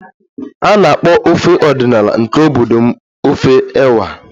A na-akpọ ofe ọdịnala nke obodo m ofe ewa